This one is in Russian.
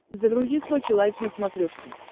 загрузи сочи лайф на смотрешке